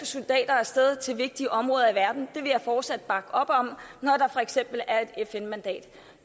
soldater af sted til vigtige områder i verden det vil jeg fortsat bakke op om når der for eksempel er et fn mandat